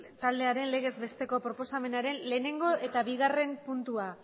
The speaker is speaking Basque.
taldearen legez besteko proposamenaren batgarrena eta bigarrena puntua